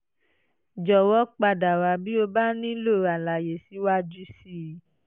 jọ̀wọ́ padà wá bí o bá nílò àlàyé síwájú sí i